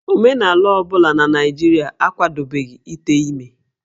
Omenala ọ bụla na Naịjirịa akwadobeghị ite ime